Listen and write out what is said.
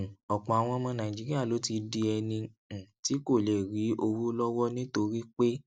um ọpọ àwọn ọmọ nàìjíríà ló ti di ẹni um tí kò lè rí owó lọwọ nítorí pé